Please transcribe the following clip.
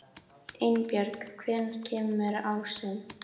Einbjörg, hvenær kemur ásinn?